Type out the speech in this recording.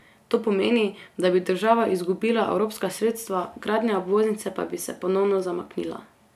To pomeni, da bi država izgubila evropska sredstva, gradnja obvoznice pa bi se ponovno zamaknila.